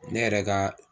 Ne yɛrɛ ka